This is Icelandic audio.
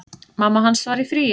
Mamma hans var í fríi.